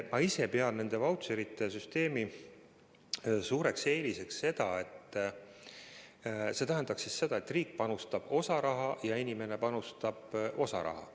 Ma ise pean vautšerite süsteemi suureks eeliseks seda, et riik panustab osa raha ja inimene panustab osa raha.